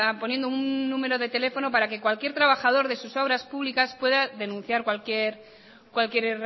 poniendo un número de teléfono para que cualquier trabajador de sus obras públicas pueda denunciar cualquier